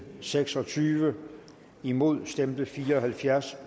seks og tyve imod stemte fire og halvfjerds